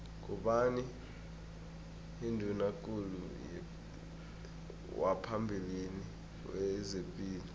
ngubani unduna kulu waphambili wezepilo